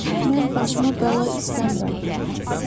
Mən başıma bəla istəmirəm,